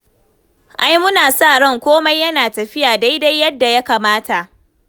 Ai muna sa ran komai yana tafiya daidai yadda ya kamata.